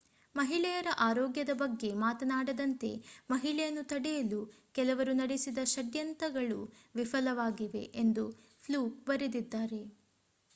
ಮಹಿಳೆಯರ ಆರೋಗ್ಯದ ಬಗ್ಗೆ ಮಾತನಾಡದಂತೆ ಮಹಿಳೆಯನ್ನು ತಡೆಯಲು ಕೆಲವರು ನಡೆಸಿದ ಷಡ್ಯಂತ್ರಗಳು ವಿಫಲವಾಗಿವೆ ಎಂದು ಫ್ಲೂಕ್ ಬರೆದಿದ್ದಾರೆ